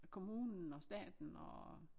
Kommunen og staten og